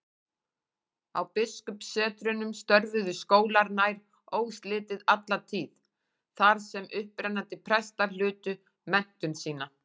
Á biskupssetrunum störfuðu skólar nær óslitið alla tíð, þar sem upprennandi prestar hlutu menntun sína.